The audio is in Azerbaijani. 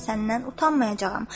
Səndən utanmayacağam.